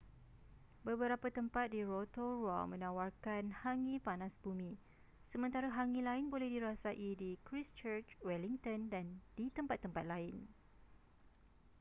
beberapa tempat di rotorua menawarkan hangi panas bumi sementara hangi lain boleh dirasai di christchurch wellington dan di tempat-tempat lain